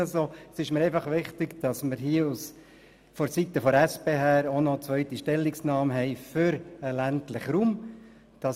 Es ist mir einfach wichtig, dass wir vonseiten der SP auch noch eine zweite Stellungnahme für den ländlichen Raum abgeben.